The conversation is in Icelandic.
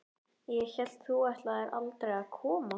Ég hélt þú ætlaðir aldrei að koma.